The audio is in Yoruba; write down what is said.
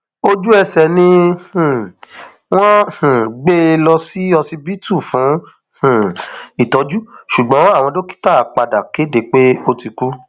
ojúẹsẹ ni um wọn um wọn gbé e lọ sí ọsibítù fún um ìtọjú ṣùgbọn àwọn dókítà padà kéde pé ó ti kú